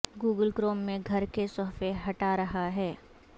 Google Chrome میں گھر کے صفحے ہٹا رہا ہے